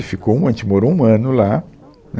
E ficou, a gente morou um ano lá, né